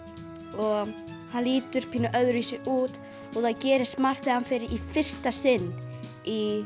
og hann lítur pínu öðruvísi út og það gerist margt þegar hann fer í fyrsta sinn í